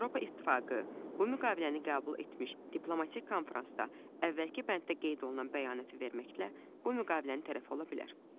Avropa İttifaqı bu müqaviləni qəbul etmiş diplomatik konfransda əvvəlki bənddə qeyd olunan bəyanəti verməklə bu müqavilənin tərəfi ola bilər.